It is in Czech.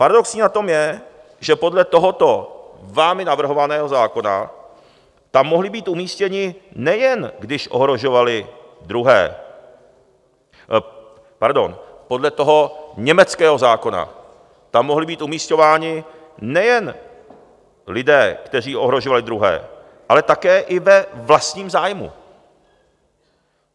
Paradoxní na tom je, že podle tohoto vámi navrhovaného zákona tam mohli být umístěni, nejen když ohrožovali druhé... pardon, podle toho německého zákona tam mohli být umisťováni nejen lidé, kteří ohrožovali druhé, ale také i ve vlastním zájmu.